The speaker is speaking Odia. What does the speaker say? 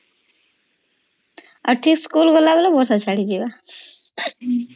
ଆଉ ଠିକ୍ ସ୍କୁଲ୍ ଗଲାବେଳେ ବର୍ଷା ଛାଡିଯିବ